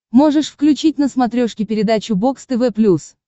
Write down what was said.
можешь включить на смотрешке передачу бокс тв плюс